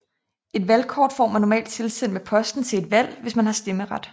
Et valgkort får man normalt tilsendt med posten til et valg hvis man har stemmeret